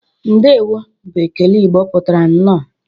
"Ndewo!" bụ ekele Igbo pụtara "Nnọọ"